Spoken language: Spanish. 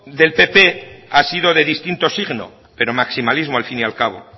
del pp ha sido de distinto signo pero maximalismo al fin y al cabo